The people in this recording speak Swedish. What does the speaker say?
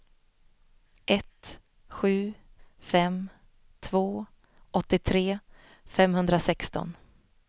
ett sju fem två åttiotre femhundrasexton